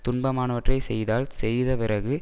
துன்பமானாவற்றைச் செய்தால் செய்தபிறகு